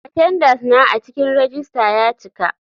Atendenca na a cikin rejista ya cika.